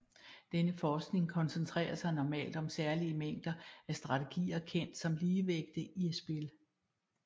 Denne forskning koncentrerer sig normalt om særlige mængder af strategier kendt som ligevægte i spil